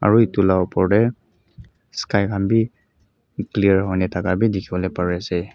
aro eto la opor teh sky kanbe clear hoina tka kanbe tekiboli pare ase.